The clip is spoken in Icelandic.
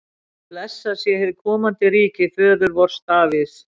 Blessað sé hið komandi ríki föður vors Davíðs!